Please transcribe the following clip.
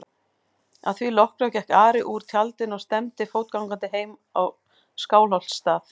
Að því loknu gekk Ari úr tjaldinu og stefndi fótgangandi heim á Skálholtsstað.